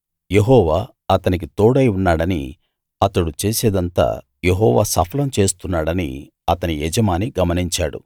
యెహోవా అతనికి తోడై ఉన్నాడనీ అతడు చేసేదంతా యెహోవా సఫలం చేస్తున్నాడనీ అతని యజమాని గమనించాడు